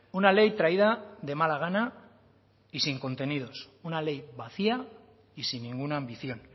una ley traída de mala gana y sin contenidos una ley vacía y sin ninguna ambición